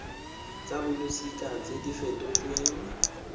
tsa bolosika tse di fetotsweng